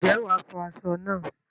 Ǹjẹ́ wàá fọ aṣọ náà?